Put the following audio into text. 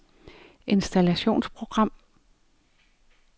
installationsprogram